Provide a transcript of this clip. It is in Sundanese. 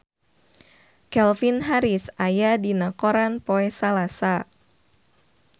Calvin Harris aya dina koran poe Salasa